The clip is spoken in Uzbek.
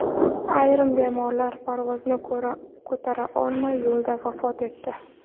Ayrim bemorlar parvozni ko‘tara olmay, yo‘lda vafot etdi.